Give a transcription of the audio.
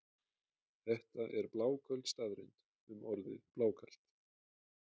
Þetta er bláköld staðreynd um orðið blákalt.